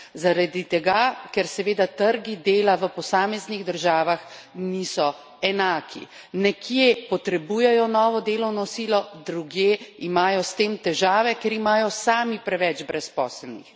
Zaradi tega, ker seveda trgi dela v posameznih državah niso enaki, nekje potrebujejo novo delovno silo, drugje imajo s tem težave, ker imajo sami preveč brezposelnih.